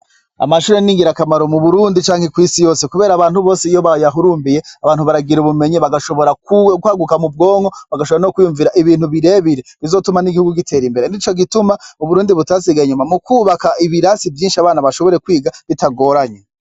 Amashure ni ngirakamaro mu Burundi canke kw'isi yose kubera abantu bose iyo bayahurumbiye abantu baragira ubumenyi bagashobora kwaguka mu bwonko bagashobora no kwiyumvira ibintu birebire bizotuma n'igihugu gitera imbere nico gituma Uburundi butasigaye inyuma mu kubaka ibirasi vyinshi abana bashobore kwiga bitagoranye.